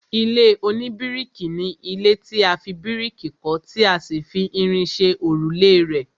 ilé oníbíríkì ni ilé tí a fi bíríkì kọ́ tí a sì fi irin ṣe òrùlé rẹ̀